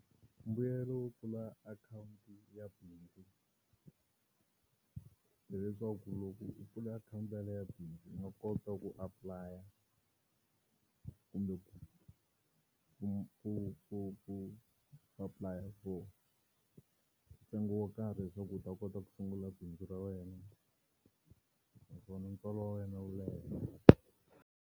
Mbuyelo wo pfula akhawunti ya bindzu hileswaku loko u pfula akhawunti yaleyo ya bindzu u nga kota ku apply kumbe ku ku ku apply for ntsengo wo karhi leswaku u ta kota ku sungula bindzu ra wena, naswona ntswalo wa wena wu le henhla.